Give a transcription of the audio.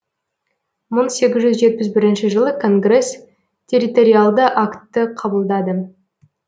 мың сегіз жүз жетпіс бірінші жылы конгресс территориалды актты қабылдады